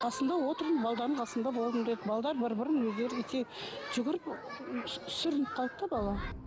қасында отырмын қасында болдым деді бір бірін өздері жүгіріп сүрініп қалды да бала